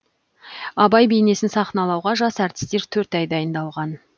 абай бейнесін сахналауға жас әртістер төрт ай дайындалған